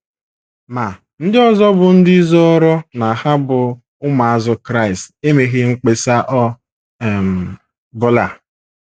Ma, ndị ọzọ bụ́ ndị zọọrọ na ha bụ ụmụazụ Kraịst emeghị mkpesa ọ um bụla.